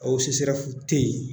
O CSREF tɛ yen.